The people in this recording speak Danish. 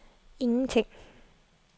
ingenting